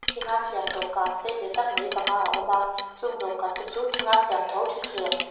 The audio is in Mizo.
thing a siam dawhkan sei ve tak mai panga a awm a chung dawhkan te chu thing a siam tho thutthleng--